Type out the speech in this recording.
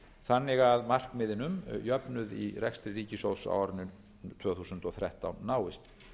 þannig að markmiðunum um jöfnuð í rekstri ríkissjóðs á árinu tvö þúsund og þrettán náist